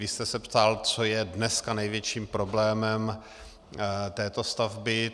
Vy jste se ptal, co je dneska největším problémem této stavby.